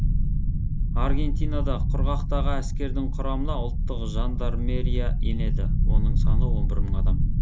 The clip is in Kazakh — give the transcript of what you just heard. аргентинада құрғақтағы әскердің құрамына ұлттық жандармерия енеді оның саны он бір мың адам